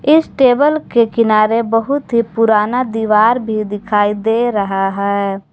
इस टेबल के किनारे बहुत ही पुराना दीवार भी दिखाई दे रहा है।